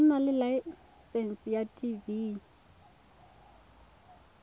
nna le laesense ya tv